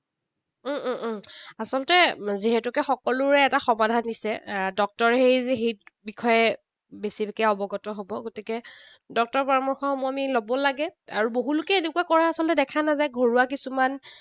উম উম উম আচলতে যিহেতুকে সকলোৰে এটা সমাধা দিছে। ডক্তৰহে সেই বিষয়ে বেছিকে অৱগত হব। গতিকে ডক্তৰৰ পৰামৰ্শসমূহ আমি লব লাগে। আৰু বহুলোকে এনেকুৱা কৰা আচলতে দেখা নাযায়, ঘৰুৱা কিছুমান